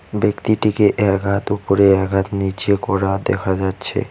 ব্যক্তিটিকে এক হাত ওপরে এক হাত নীচে করা দেখা যাচ্ছে।